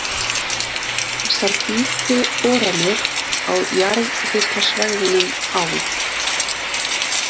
Þessar dýpri boranir á jarðhitasvæðunum á